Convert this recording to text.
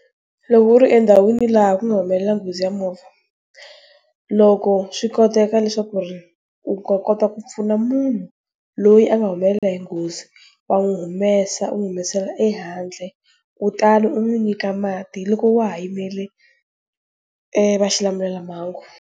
Loko u ri endhawini laha ku nga humelela nghozi ya movha. Loko swi koteka leswaku ri, u kota ku pfuna munhu, loyi a nga humelela hi nghozi. Wa n'wi humesa u n'wi humesela ehandle, kutani u n'wi nyika mati hi loko wa ha yimele, va xilamulelamhangu.